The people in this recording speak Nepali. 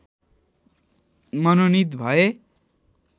मनोनित भए